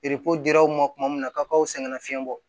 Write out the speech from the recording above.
dir'aw ma tuma min na k'aw sɛgɛnna fiɲɛ bɔ